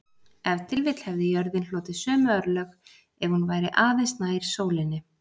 Ef til vill hefði jörðin hlotið sömu örlög ef hún væri aðeins nær sólinni.